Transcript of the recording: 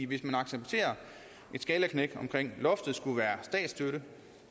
hvis man accepterer at et skalaknæk i med loftet skulle være statsstøtte